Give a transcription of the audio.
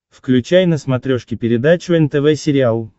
включай на смотрешке передачу нтв сериал